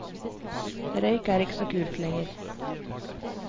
Røyk er ikke så kult lenger.